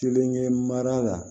Kelen ye mara la